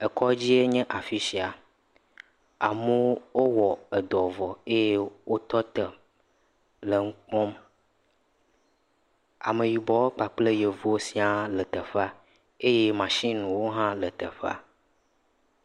Ekɔdzi enye afi sia. Amewo o wowɔ edɔ vɔ eye wotɔ tɔ le ŋu kpɔm. Ameyibɔwo kpakple Yevuwo siaa le teƒea eye mashiniwo hã le teƒea.